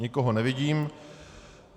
Nikoho nevidím.